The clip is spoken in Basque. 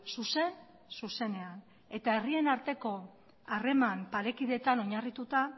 zuzen zuzenean eta herrien arteko harreman parekideetan oinarrituta